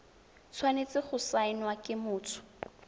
tshwanetse go saenwa ke motho